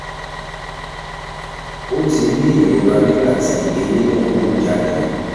o ti ní ìrora nígbà tí eyín náà ń hù jáde